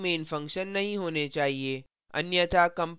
एक से अधिक main function नहीं होने चाहिए